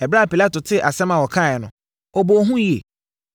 Ɛberɛ a Pilato tee asɛm a wɔkaeɛ no, ɔbɔɔ hu yie.